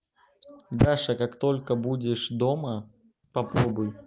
даша как только будешь дома